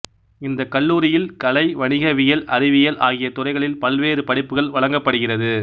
இந்த கல்லூரியில் கலை வணிகவியல் அறிவியல் ஆகிய துறைகளில் பல்வேறு படிப்புகள் வழங்கப்படுகிறது